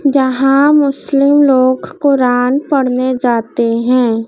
जहां मुस्लिम लोग कुरान पढ़ने जाते हैं।